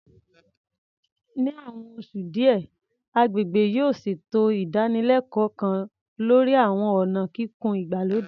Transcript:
Ní àwọn oṣù díẹ̀, agbègbè yóò ṣètò ìdánilẹ́kọ̀ọ́ kan lórí àwọn ọ̀nà kíkùn ìgbàlódé